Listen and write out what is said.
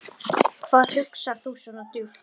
Hvað hugsar þú svona djúpt?